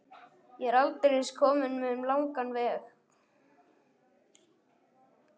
Ég er aldeilis kominn um langan veg.